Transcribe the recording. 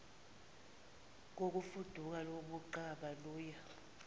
kokufuduka koquqaba luya